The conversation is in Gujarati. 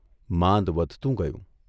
માંદ વધતું ગયું.